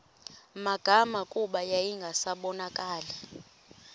magama kuba yayingasabonakali